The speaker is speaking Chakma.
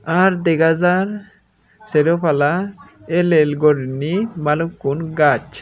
ar dega jar seropala el el gorinei balukkun gaz.